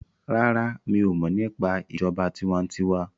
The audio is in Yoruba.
ràrá mi'o mo nípa ìjọba tiwantiwa.